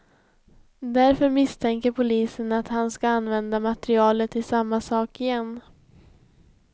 Därför misstänker polisen att han ska använda materialet till samma sak igen.